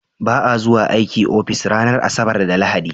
Ba a zuwa aiki ofis ranar Asabar da Lahadi.